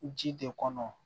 Ji de kɔnɔ